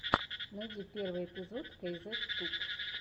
найди первый эпизод кейзет туб